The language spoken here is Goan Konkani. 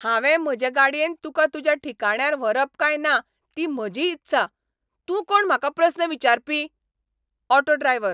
हांवें म्हजे गाडयेन तुका तुज्या ठिकाण्यार व्हरप काय ना ती म्हजी इत्सा. तूं कोण म्हाका प्रस्न विचारपी? Auto driver